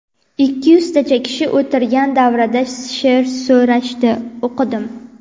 Ikki yuztacha kishi o‘tirgan davrada she’r so‘rashdi, o‘qidim.